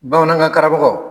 Bamanankan karamɔgɔ.